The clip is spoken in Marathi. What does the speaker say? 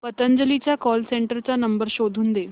पतंजली च्या कॉल सेंटर चा नंबर शोधून दे